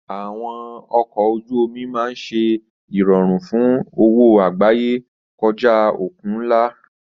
Àwọn ọkọ̀ ojú omi máa ń ṣe ìrọ̀rùn fún òwò àgbáyé kọjá òkun ńlá.